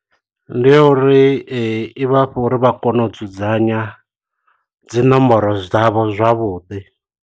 Ndi ya uri i vha fha uri vha kone u dzudzanya dzi nomboro dzavho zwavhuḓi.